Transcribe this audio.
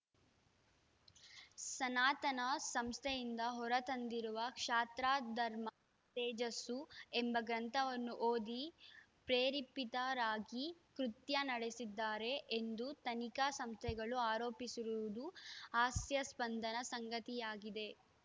ಸನಾತನ ಸಂಸ್ಥೆಯಿಂದ ಹೊರ ತಂದಿರುವ ಕ್ಷಾತ್ರಧರ್ಮ ತೇಜಸ್ಸು ಎಂಬ ಗ್ರಂಥವನ್ನು ಓದಿ ಪ್ರೇರೇಪಿತರಾಗಿ ಕೃತ್ಯ ನಡೆಸಿದ್ದಾರೆ ಎಂದು ತನಿಖಾ ಸಂಸ್ಥೆಗಳು ಆರೋಪಿಸಿರುವುದು ಹಾಸ್ಯಾಸ್ಪದ ಸಂಗತಿಯಾಗಿದೆ